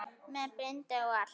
Með bindi og allt!